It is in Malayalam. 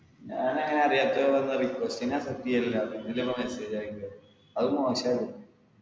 ഞങ്ങനെ അറിയാത്തവർക്കൊന്നും request ന്നെ accept ചെയ്യില്ല പിന്നല്ലേ പ്പോ message അയക്കല് അത് മോശല്ലേ